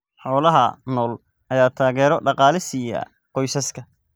Xoolaha nool ayaa taageero dhaqaale siiya qoysaska.